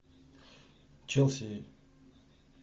челси